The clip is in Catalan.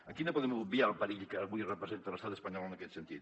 aquí no podem obviar el perill que avui representa l’estat espanyol en aquest sentit